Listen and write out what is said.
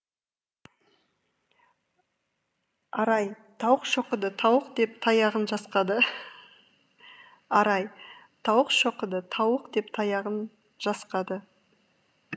арай тауық шоқыды тауық деп таяғын жасқады арай тауық шоқыды тауық деп таяғын жасқады